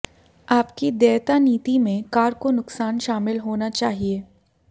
आपकी देयता नीति में कार को नुकसान शामिल होना चाहिए